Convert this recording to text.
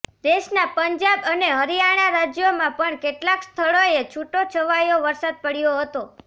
દેશના પંજાબ અને હરિયાણા રાજ્યોમાં પણ કેટલાક સ્થળોએ છુટોછવાયો વરસાદ પડ્યો હતો